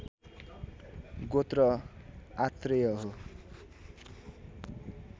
गोत्र आत्रेय हो।